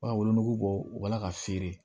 U b'a wolonugu bɔ ala ka feere